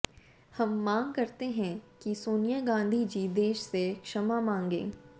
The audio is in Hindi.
हम माँग करते है कि सोनिया गांधी जी देश से क्षमा माँगे